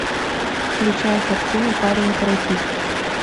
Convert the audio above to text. включай картину парень каратист